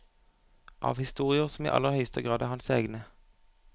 Av historier som i aller høyeste grad er hans egne.